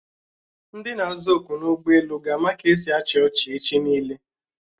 Ndi na-aza oku n'ụgbọelu ga-ama ka esi achị ọchị echi niile